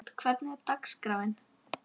Vertu ekki að segja mér hvað ég á að hugsa!